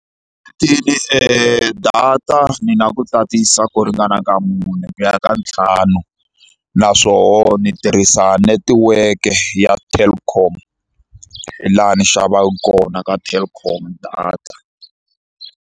data ni na ku tatisa ku ringana ka mune ku ya ka ntlhanu naswona ndzi tirhisa netiweke ya Telkom laha ndzi xavaka kona ka Telkom data.